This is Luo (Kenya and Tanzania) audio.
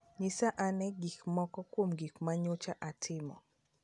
Nyisa ane moko kuom gik ma nyocha atimo